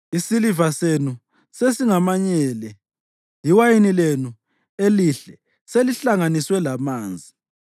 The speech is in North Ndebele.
Isiliva senu sesingamanyele, iwayini lenu elihle selihlanganiswe lamanzi.